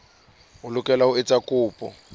o lokela ho etsa kopo